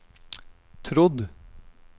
trodd